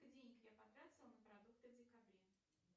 денег я потратила на продукты в декабре